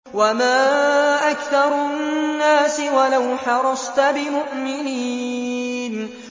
وَمَا أَكْثَرُ النَّاسِ وَلَوْ حَرَصْتَ بِمُؤْمِنِينَ